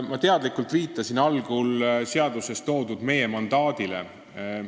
Ma teadlikult viitasin algul meie mandaadile, mis on seaduses kirjas.